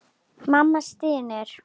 Mamma stynur.